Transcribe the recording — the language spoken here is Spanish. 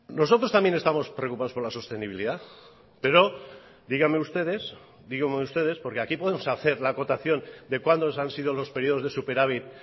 bien nosotros también estamos preocupados por la sostenibilidad pero díganme ustedes porque aquí podemos hacer la acotación de cuando han sido los periodos de superávit